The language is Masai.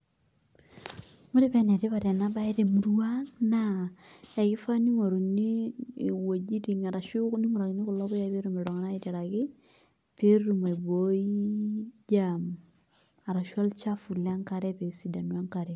Ore paa enetipat enabaye temurua ang' naa kifaa ning'oruni iweujitin arashu epikakini kulo puyayi pee etumoki oltung'ani aiteraki pee etum aibooii germ arashu olchafu le enkare pee esidanu enkare.